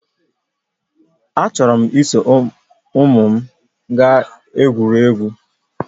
Achọrọ m iso ụmụ m gaa gwurie egwu